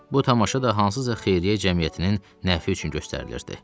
Bu tamaşa da hansısa xeyriyyə cəmiyyətinin nəfi üçün göstərilirdi.